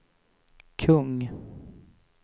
kung